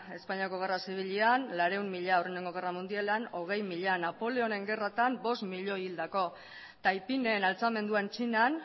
espainiako gerra zibilean laurehun mila lehenengo gerra mundialean hogei mila napoleonen gerratan bost milioi hildako taipingen altxamenduan txinan